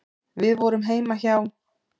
Við vorum heima hjá